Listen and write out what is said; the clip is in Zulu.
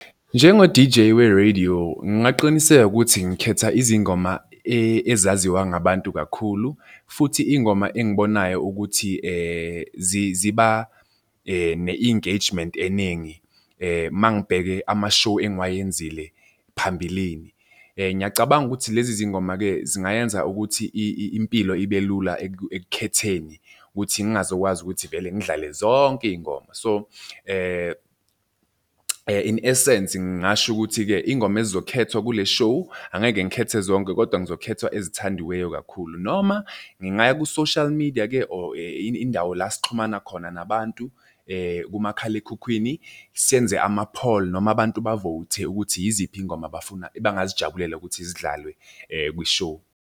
Njengo-D_J we-radio, ngingaqiniseka ukuthi ngikhetha izingoma ezaziwa ngabantu kakhulu futhi iy'ngoma engibonayo ukuthi ziba ne-engagement eningi, uma ngibhekene ama-show engiwayenzile phambilini. Ngiyacabanga ukuthi lezi zingoma-ke zingayenza ukuthi impilo ibe lula ekukhetheni ukuthi ngingazokwazi ukuthi vele ngidlale zonke iy'ngoma. So, in essence ngingasho ukuthi-ke iy'ngoma ezizokhethwa kule show, angeke ngikhethe zonke kodwa ngizokhetha ezithandiweyo kakhulu, noma ngingaya ku-social media-ke or indawo la esixhumana khona nabantu kumakhalekhukhwini, senze ama-poll noma abantu ba-vote-e ukuthi yiziphi iy'ngoma abafuna abangazijabulela ukuthi zidlalwe kwi-show.